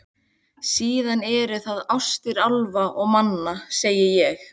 Síðan eru það ástir álfa og manna, segi ég.